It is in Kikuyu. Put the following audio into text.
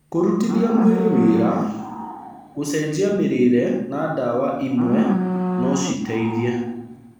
Kũrutithia mwĩrĩ wĩra, gũcenjia mĩrĩre na ndawa imwe no citeithie.